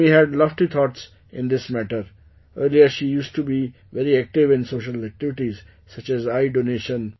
Mummy had lofty thoughts in this matter... earlier she used to be very active in social activities such as eyedonation